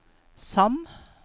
Sand